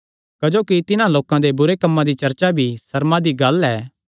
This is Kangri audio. क्जोकि तिन्हां लोकां दे बुरे कम्मां दी चर्चा करणा भी सर्मा दी गल्ल ऐ